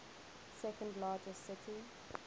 second largest city